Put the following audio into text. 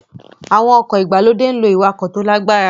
Àwọn ọkọ̀ ìgbàlódé ń lo ìwakò tó lágbára